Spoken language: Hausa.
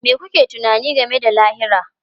Me kuke tunani game da lahira?